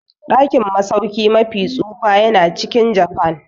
Dakin masauki mafi tsufa yana cikin Japan.